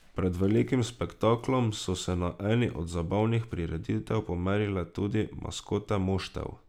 Pred velikim spektaklom so se na eni od zabavnih prireditev pomerile tudi maskote moštev.